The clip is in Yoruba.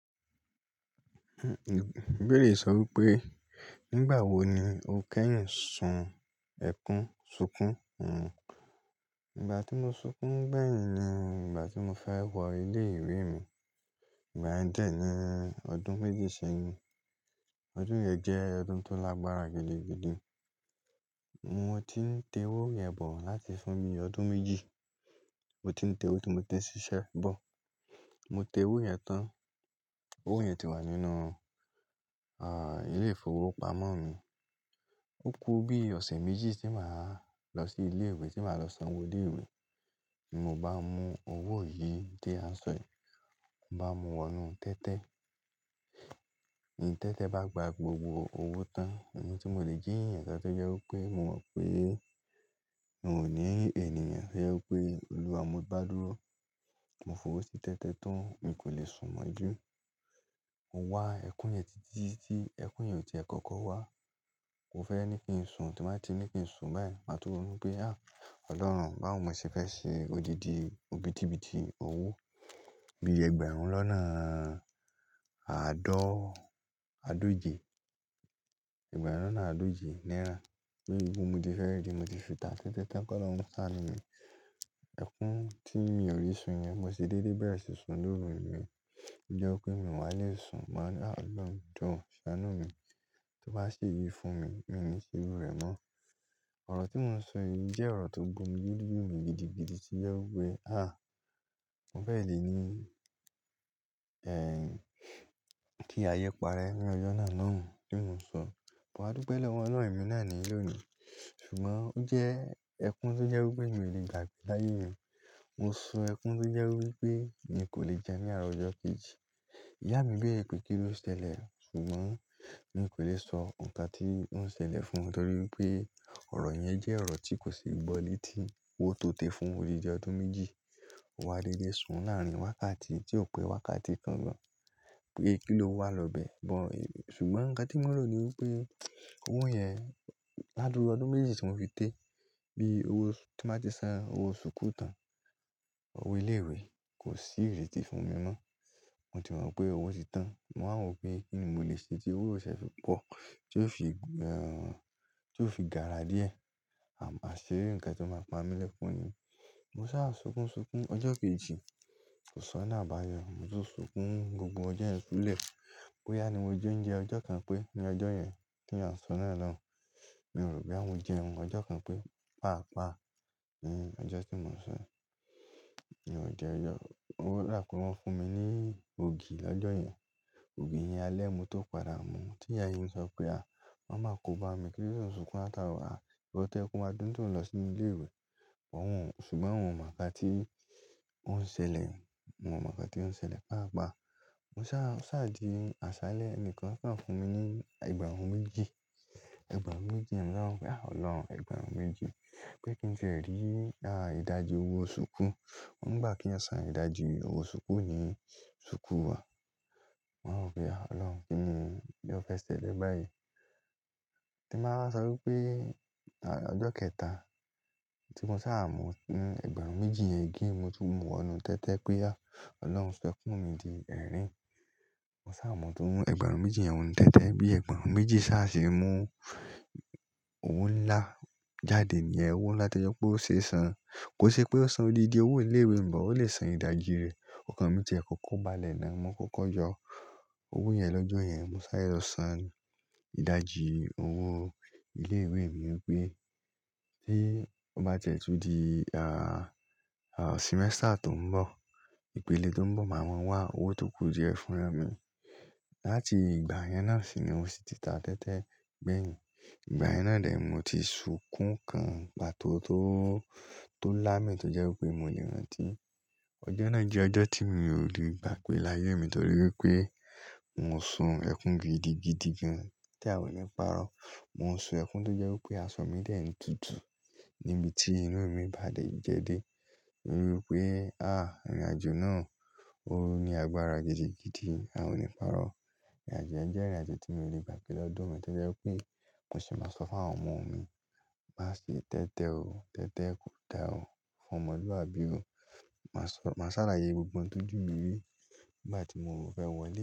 Ibeere sọ wípé, nígbà wo ni o kẹ́yìn sun ẹkún ṣúnkún? Nìgbà tí mo sunkún bẹ́yìn ni nígbà tí mo fẹ́ wọ ilé ìwé mi. Ìgbà yẹn dè ẹ́ ni ọdún méjì sẹ́yìn. Ọdún yẹn jẹ́ ọdún tó lágbára gidigidi. Mo ti ń te owó yẹn bọ̀ láti fún mi ọdún méjì. Mo ti ń te owó tí mo ti ń ṣiṣẹ́ bọ̀. Mo te owó yẹn tán. Owó yẹn ti wà nínú, à, ilé-ìfowópamọ́ mi. Ó kú bí ọ̀sẹ̀ méjì tí màá lọ sí ilé ìwé tí màá lọ san owó ilé ìwé. Tí mo bá mú owó yìí tí a ń sọ yìí, mo bá mú wọnu tẹ́tẹ́. Tẹ́tẹ́ bá gba gbogbo owó tán, ohun tí mo lè jíyàn ṣáájú jẹ́ wípé mo mọ̀ pé n ò ní ènìyàn. Ẹ jẹ́ wípé Olúwa mo bá dúró, ọmọ fùró sì tẹ́tẹ́ tán, mo kò lè sùn mọ́ jù. Mo wá ẹkún yẹn títí tí ẹkún yẹn ò tí i kọ́kọ́ wá. Mo fẹ́ ní kí n sùn, tí màá ti ní kí n sùn báyìí, màá túbọ̀ mọ̀ wípé à! Ọlọ́run bawo mo ṣe fẹ́ ṣe odidi, òbítíbitì owó bí ẹgbẹ̀rún lọ́nà àádọ́ adóje, ẹgbẹ̀rún lọ́nà adóje náírà. Pé ìbò mi ti fẹ́ rí tí mo ti sùn tán tẹ́tẹ́ tán kó lọ sánú mi. Ẹkún tí mi ò rí sùn yẹn mo sì dédé bẹ̀rẹ̀ sì sùn lóru mi. Bí jẹ́ pé mi wà lè sùn, màá ná à! Ọlọ́run jo ṣánú mi. Tó bá ṣe yìí fún mi, mo ní ṣe iru rẹ mọ́. Ọ̀rọ̀ tí mò ń sọ yìí jẹ́ ọ̀rọ̀ tó gba omí loju m gidigidi tí jẹ́ wípé à! Mo fẹ̀ lé ní, ẹ́, kí ayé parẹ́ ní ọjọ́ náà náà tí mò ń sọ. Mo wá dúpe lọ́wọ́ Ọlọ́run ẹ̀mí náà ní ìlónìí. Ṣùgbọ́n ó jẹ́ ẹkún tó jẹ́ wípé mi ò lè gbàgbé láyé mi. Mo sun ẹkún tó jẹ́ wípé mi kò lè jẹun ní àárọ̀ ọjọ́ kejì. Ìyá mi béèrè pé kí ló ṣẹlẹ̀, ṣùgbọ́n mi kò lè sọ nǹkan tí ó ń ṣẹlẹ̀ fún wọn torí pé ọ̀rọ̀ yẹn jẹ́ ọ̀rọ̀ tí kò sì gbọ́ létí. Ó tó tẹ fún mi jẹ ọdún méjì. Mo wá dédé sùn láàrin wákàtí tí ò pé wákàtí kan lọ. Pé kí ló wà lọ́bẹ̀. Ṣùgbọ́n nǹkan tí mò ń rò ni wípé owó yẹn ládúrú ọdún méjì tí mo fi tẹ, bí owó tí màá ti san owó ṣúkú tán, owó ilé ìwé kò sí ìrètí fún mi mọ́. Mo ti mọ̀ pé owó ti tán. Mo wá mọ̀ pé kí ni mo lè ṣe tí owó ò ṣe é fi pọ̀ tí yóò fi, ehn, tí yóò fi gààrà díẹ̀, à máa ṣe nǹkan tí ó máa pa mi lẹ́kún ni. Mo sá à sunkún sunkún ọjọ́ kejì. Kò sọ náà bá a yọ. Mo sì sunkún gbogbo ọjọ́ yẹn lulẹ̀. Boyá ni mo je ouńjẹ ọjọ́ kan pé ní ọjọ́ yẹn tí a ń sọ náà náà, mi ò rò boya mo jẹun. Ọjọ́ kan pé pàápàá ni ọjọ́ tí mò ń sọ yí. Mi ò jẹ ẹyọ. Ó rà pé wọ́n fún mi ní ògì lọ́jọ́ yẹn. Ògì yẹn alẹ́ mo tó padà mú. Tí ìyá mi sọ pé à! Wọn máa kó bá mi kí n tó sunkún látara, à, owó tẹ́ ẹ kí n máa dún òún lọ sí ilé ìwé. Wọ́n wọ̀n, ṣùgbọ́n wọn mọ̀ nǹkan tí ó ń ṣẹlẹ̀. Wọn mọ̀ nǹkan tí ó ń ṣẹlẹ̀ pàápàá. Mo sá à di àsálẹ́ ẹnìkan fún mi ní ẹgbẹ̀rún méjì. Ẹgbẹ̀rún méjì, mo sọ wípé à! Ọlọ́run ẹgbẹ̀rún méjì. Pé kí n lè rí, à, ìdajì owó ṣúkú. Wọ́n ń gbà kí a san ìdajì owó ṣúkú ní ṣúkú wa. Mo wá rọ̀ pé à! Ọlọ́run kí ni o fẹ́ ṣelẹ báyìí. Tí màá sọ wípé, à, ọjọ́ kẹta tí mo sá à mú ẹgbẹ̀rún méjì yẹn gé ẹ mu, mo tún mú ọ̀nà tẹ́tẹ́ pé à! Ọlọ́run san ẹkún mi di ẹ̀rín. Mo sá à mú tún ẹgbẹ̀rún méjì yẹn wọn tẹ́tẹ́ bí ẹgbẹ̀rún méjì sá à ṣe mú owó ńlá jáde ní ẹ. Owó ńlá tí ẹ jẹ́ kó ṣe san. Kò ṣe pé ó san òlìdìí owó ilé ìwé, ǹjọ ó lè san ìdajì rẹ̀. Ọ̀kan mi tí ẹ kò kóba lẹ̀ náà mo kò kọ́jọ owó yẹn lọ́jọ́ yẹn. Mo sá eré lọ san ìdajì owó ilé ìwé mi wípé tí ó bá ti ẹ di, à, à, sìmẹ́sítà tó ń bọ̀, ìpele tó ń bọ̀ máa ma wá owó tó kù díẹ̀ fúnra mi. Láti ìgbà yẹn náà sì ni owó sì ti ta tẹ́tẹ́ bẹ́yìn. Ìgbà yẹn náà dè ẹ́ mo ti sunkún kan ìpà tó, tó, tó lá mì tó jẹ́ wípé mo lè rántí. Ọjọ́ náà jẹ́ ọjọ́ tí mi ò lè gbà gbe láyé mi torí wípé mo sun ẹkún gidigidi gan-an tí àwọn ò ní pàrọ̀. Mo sun ẹkún tó jẹ́ wípé aṣọ mi dè ẹ́ tútù níbi tí inú mi bá jẹ dé torí wípé à! Irinàjò náà ó ní agbára gidigidi, a ò ní pàrọ̀. Irinàjò yẹn jẹ́ irinàjò tí mo lè gbà pé lọ́dún mi tẹ́tẹ́ wípé mo sì máa sọ fún àwọn ọmọ mi má ṣe tẹ́tẹ́ o. Tẹ́tẹ́ kò da o. Fún ọmọluabí o. Màá sọ, màá ṣàlàyé gbogbo ohun tójú mi rí nígbà tí mo fẹ́ wọlé.